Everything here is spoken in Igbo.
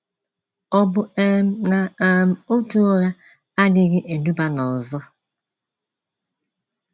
Ọ bụ um na um otu ụgha adịghị eduba n’ọzọ?